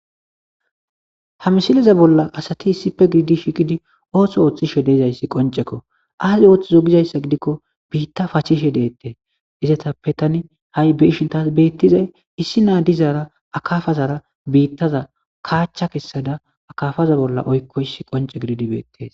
Ha misileza bolla asathi issippe gididi shiiqidi ooso ooththishe de7izayssi qoncce koo;ay ooththizo gizayssa gidikko biiththaa pachishe deeththes; izethappe thani ha7i be7ishe beeththizay issinna dizaara akaafazaara biiththaza kaachcha kessada akaafaza bolli oykkoyssi qoncce gididi beeththees.